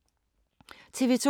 TV 2